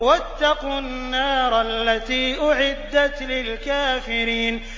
وَاتَّقُوا النَّارَ الَّتِي أُعِدَّتْ لِلْكَافِرِينَ